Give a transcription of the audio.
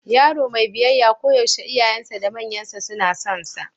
Yaro mai biyayya koyaushe iyayensa da manyansa suna sonsa.